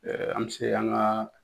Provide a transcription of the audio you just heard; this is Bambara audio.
an bɛ se k'an ka